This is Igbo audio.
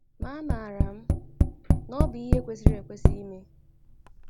Ma amaara m na ọ bụ ihe kwesịrị ekwesị ime. ”